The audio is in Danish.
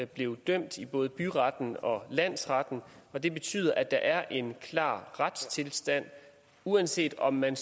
blev dømt i både byretten og landsretten og det betyder at der er en klar retstilstand uanset om man